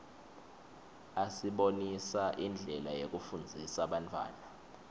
asibonisa indlela yekufundzisa bantfwana